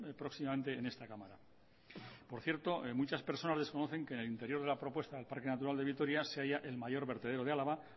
próximamente en esta cámara por cierto muchas personas desconocen que en el interior de la propuesta del parque natural de vitoria se haya el mayor vertedero de álava